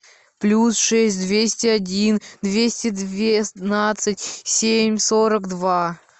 плюс шесть двести один двести двенадцать семь сорок два